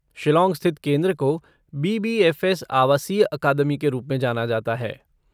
शिलाॉन्ग स्थित केंद्र को बी.बी.एफ़.एस. आवासीय अकादमी के रूप में जाना जाता है।